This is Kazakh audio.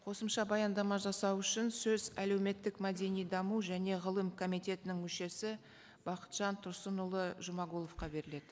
қосымша баяндама жасау үшін сөз әлеуметтік мәдени даму және ғылым комитетінің мүшесі бақытжан тұрсынұлы жұмағұловқа беріледі